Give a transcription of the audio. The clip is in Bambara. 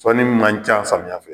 Sɔnni man ca samiyɛ fɛ